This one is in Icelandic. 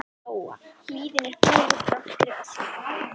Lóa: Hlíðin er fögur, þrátt fyrir öskufallið?